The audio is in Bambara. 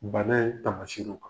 Bana tamasiru kan.